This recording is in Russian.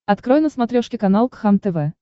открой на смотрешке канал кхлм тв